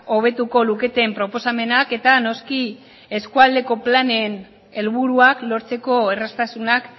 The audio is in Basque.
hobetuko luketen proposamenak eta noski eskualdeko planen helburuak lortzeko erraztasunak